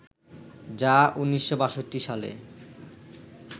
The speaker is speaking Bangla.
যা ১৯৬২ সালে